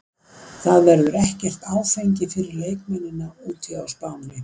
Það verður ekkert áfengi fyrir leikmennina úti á Spáni.